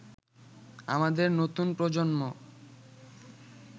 আমাদের নতুন প্রজন্ম